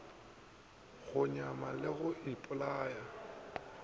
go nyama le go ipolaya